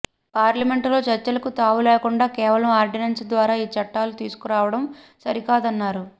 పార్లమెంటులో చర్చలకు తావులేకుండా కేవలం ఆర్డినెన్స్ ద్వారా ఈ చట్టాలు తీసుకు రావడం సరికాదన్నారు